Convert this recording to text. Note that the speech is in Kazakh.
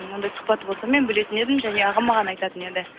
оңдай сұхбаты болса мен білетін едім және ағам маған айтатын еді